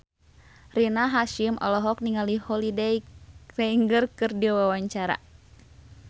Rina Hasyim olohok ningali Holliday Grainger keur diwawancara